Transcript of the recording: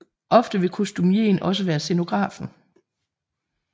Ofte vil kostumieen også være scenografen